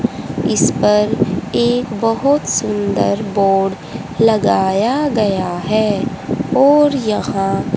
इस पर एक बहुत सुंदर बोर्ड लगाया गया है और यहां--